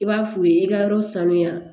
I b'a f'u ye i ka yɔrɔ sanuya